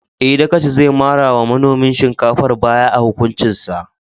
Eh, Dagaci zai mara wa manomin shinkafar baya a hukuncin sa.